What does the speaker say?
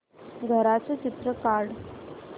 घराचं चित्र काढ